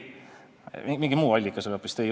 Kas teie küsimusel oli mingi muu allikas?